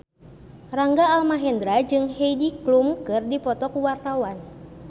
Rangga Almahendra jeung Heidi Klum keur dipoto ku wartawan